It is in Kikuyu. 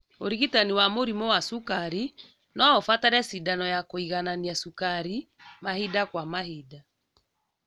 ũrigitani wa mũrimũ wa cukari noũbatare cindano ya kũiganania cukari mahinda kwa mahinda